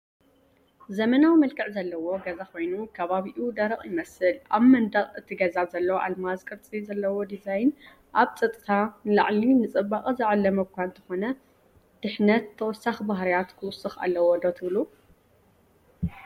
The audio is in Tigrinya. ዘመናዊ መልክዕ ዘለዎ ገዛ ኮይኑ ከባቢኡ ደረቕ ይመስል፡ ኣብ መንደቕ እቲ ገዛ ዘሎ ኣልማዝ ቅርጺ ዘለዎ ዲዛይን ካብ ጸጥታ ንላዕሊ ንጽባቐ ዝዓለመ እኳ እንተኾነ፡ ድሕነት ተወሳኺ ባህርያት ክውሰኽ ኣለዎ ዶ ትብሉ?